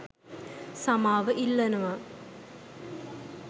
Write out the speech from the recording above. සමාව ඉල්ලනව.